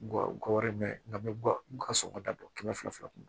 Gɔbɔni bɛ nka bɛ guwa n ga sɔngɔ da bɔ kɛmɛ fila kɔnɔ